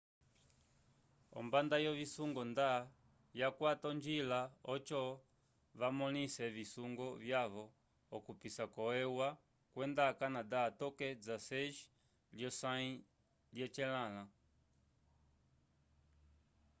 ombanda yovisungo nda yakwata onjila oco vamõlise visungo vyavo okupisa ko eua kwenda canada toke 16 lyosãyi lyecelãla